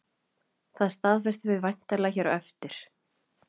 Það staðfestum við væntanlega hér á eftir?